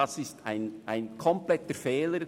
Dies ist ein kompletter Fehler.